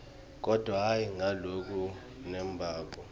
kodvwa hhayi ngalokunembako